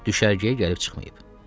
Düşərgəyə gəlib çıxmayıb.